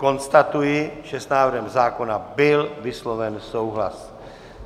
Konstatuji, že s návrhem zákona byl vysloven souhlas.